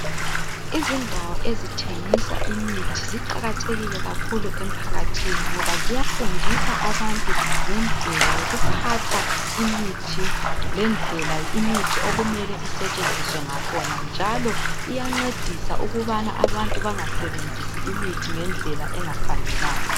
Izindawo ezithengisa imithi ziqakathekile kakhulu emphakathini ngoba ziyafundisa abantu ngendlela yokuphatha imithi ngendlela imithi okumele isetshenziswe ngakhona njalo iyancedisa ukubana abantu bengasebenzisi imithi ngendlela engafanelanga.